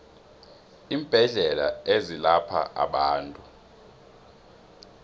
iimbedlela ezelapha abantu